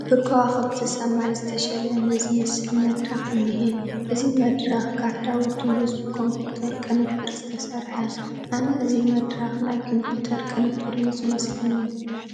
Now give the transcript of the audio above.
ብከዋኽብቲ ሰማይ ዝተሸለመ ዝመስል መድረኽ እኒሀ፡፡ እዚ መድረኽ ጋህዳዊ ድዩስ ብኮምፒዩተራዊ ቅንብር ዝተሰርሐ፡፡ ኣነ እዚ መድረኽ ናይ ኮምፒዩተር ቅንብር እዩ ዝመስለኒ፡፡